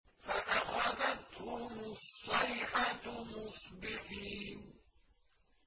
فَأَخَذَتْهُمُ الصَّيْحَةُ مُصْبِحِينَ